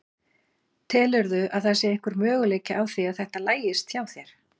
Telurðu að það sé einhver möguleiki á því að þetta lagist hjá þér?